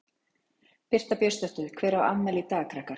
Birta Björnsdóttir: Hver á afmæli í dag krakkar?